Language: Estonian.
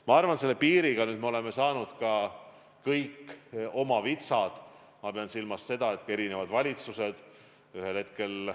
Ma arvan, et piiriga me oleme oma vitsad kätte saanud.